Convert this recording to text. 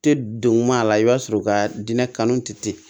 Tɛ don ma a la i b'a sɔrɔ u ka diinɛ kanu tɛ ten